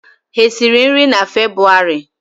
Ha esiri nri na febwarị?